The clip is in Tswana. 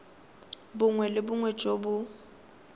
bongwe le bongwe jo bo